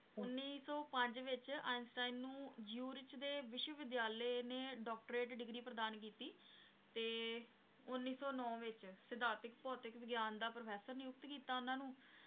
ਉੱਨੀ ਸੌ ਪੰਜ ਵਿੱਚ ਆਈਨਸਟੀਨ ਨੂੰ ਜ਼ਿਊਰਿਚ ਦੇ ਵਿਸ਼ਵ ਵਿਦਿਆਲੇ ਨੇ doctorate degree ਪ੍ਰਦਾਨ ਕੀਤੀ ਤੇ ਉੱਨੀ ਸੌ ਨੋਂ ਵਿੱਚ ਸਿਧਾਂਤਿਕ ਭੌਤਿਕ ਵਿਗਿਆਨ ਦਾ professor ਨਿਯੁਕਤ ਕੀਤਾ ਉਹਨਾਂ ਨੂੰ